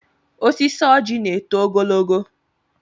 Osisi ọjị na-eto ogologo.